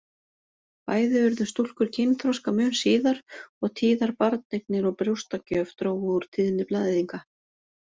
Bæði urðu stúlkur kynþroska mun síðar og tíðar barneignir og brjóstagjöf drógu úr tíðni blæðinga.